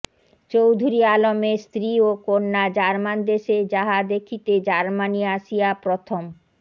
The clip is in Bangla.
চৌধুরী আলমের স্ত্রী ও কন্যা জার্মান দেশে যাহা দেখিতেজার্মানি আসিয়া প্রথম